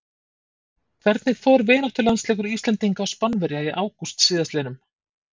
Hvernig fór vináttulandsleikur Íslendinga og Spánverja í ágúst síðastliðnum?